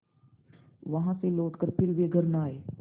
वहाँ से लौटकर फिर वे घर न आये